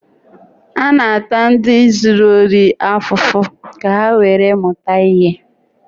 A na-ata ndi zuru ohi ofufu ka ha nwere muta ihe